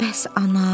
Bəs anam?